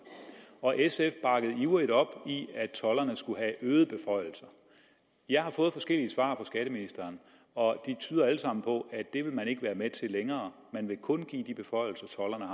og sf bakkede ivrigt op om at tolderne skulle have øgede beføjelser jeg har fået forskellige svar fra skatteministeren og de tyder alle sammen på at det vil man ikke være med til længere man vil kun give de beføjelser